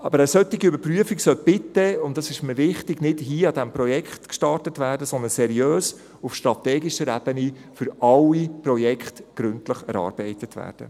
Jedoch sollte eine solche Überprüfung – und dies ist mir wichtig – nicht mit diesem Projekt gestartet werden, sondern seriös auf strategischer Ebene für alle Projekte gründlich erarbeitet werden.